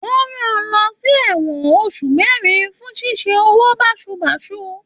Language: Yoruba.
Wọn rán lọ ṣ'ewọn oṣù mẹrin fún ṣíṣe owó basubasu.